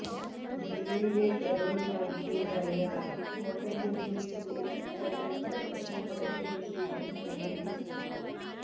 ഡൽഹിയിലെ കരോൾ ഭാഗിലുണ്ടായ ഹോട്ടൽ ദുരന്തത്തിന്റെ പശ്ചാത്തലത്തിൽ കർശന നടപടികൾ സ്വീകരിച്ച് ഡൽഹി സർക്കാർ